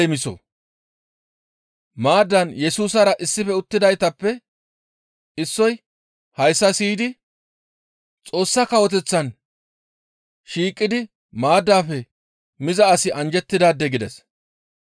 Maaddan Yesusara issife uttidaytappe issoy hayssa siyidi, «Xoossa Kawoteththan shiiqidi maaddaafe miza asi anjjettidaade» gides.